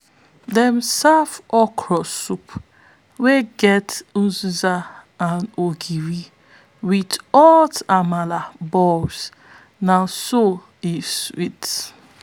dem serve okra soup wey get uziza and ogiri with hot amala balls na so e sweet!